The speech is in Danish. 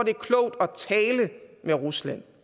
er klogt at tale med rusland